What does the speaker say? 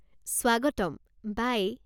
স্বাগতম। বাই!